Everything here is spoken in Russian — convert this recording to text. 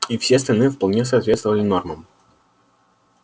и все остальные вполне соответствовали нормам